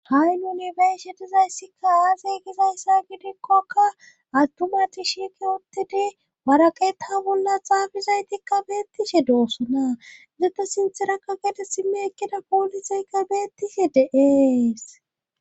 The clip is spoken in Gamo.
Tani be7ashe dizayssikka aaze gizayssa gidikkoka athumati shiqi ottidi waraqeeta bolla xaafizaytikka beettishe doossona izete sinterakka gede simme ekkida poolisaykka beettishe deees.